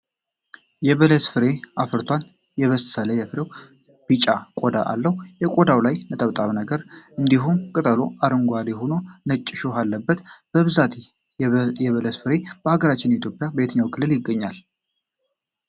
የበለስ ፍሬ አፍርቷል። የበሰለ የበለስ ፍሬዉ ቢጫ ቆዳ አለዉ። ከቆዳዉ ላይ ነጠብጣብ ነገር እንዲሁም ቅጠሉ አረንጓዴ ሆኖ ነጭ እሾህ አለበት። በብዛት የበለስ ፍሬ በአገራችን ኢትዮጵያ በየትኛዉ ክልል ይገኛል?